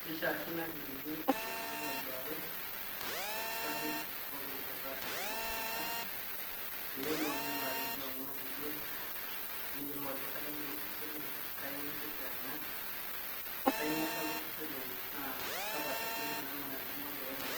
Kishiakino ake peyie elo oltung'ani aduoare olkitarri tepooki rishata ashu tepooki kata, peelo ming'urari imbaa enyenak ebiotisho, neyiolou ajo kainyioo eyeu osesen lenye, kainyioo eitoki anya, kainyioo etala osesen lenye naa kakwa daikin kuna naanarikino pee enya